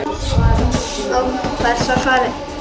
Og hvert er svarið?